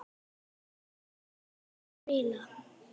Þú kenndir mér að spila.